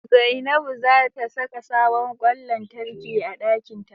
Zainabu za ta saka sabon ƙwan lantarki a ɗakinta.